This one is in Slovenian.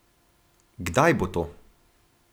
Kdaj bo to?